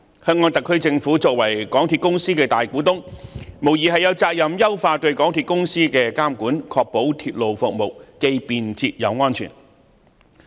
香港特區政府作為港鐵公司的大股東，無疑有責任優化對港鐵公司的監管，確保鐵路服務既便捷又安全。